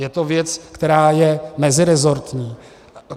Je to věc, která je meziresortní.